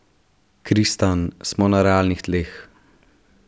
Kristan: 'Smo na realnih tleh.